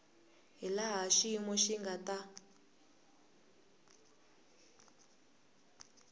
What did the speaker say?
hilaha xiyimo xi nga ta